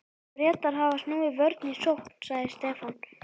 Bretar hafa snúið vörn í sókn, sagði Stefán.